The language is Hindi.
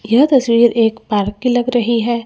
यह तस्वीर एक पार्क की लग रही है।